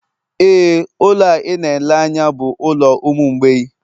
Éè, ụlọ a ị na-ele anya bụ ụlọ ụmụ mgbei